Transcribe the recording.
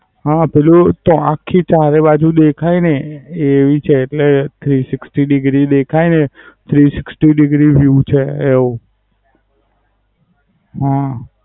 હા, પેલું ચો આખી ચારે બાજુ દેખાય ને એ એવી છે એટલે Sixty degree દેખાય ને જે Sixty degree view છે એવું. હા.